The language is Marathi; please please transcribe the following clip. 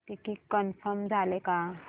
तिकीट कन्फर्म झाले का